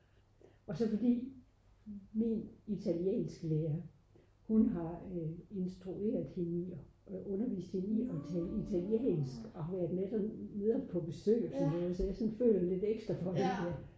og så fordi min italiensklærer hun har instrueret hende i at tale italiensk og har været med dernede på besøg og så videre så jeg føler lidt ekstra for det